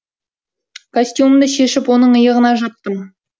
костюмімді шешіп оның иығына жаптым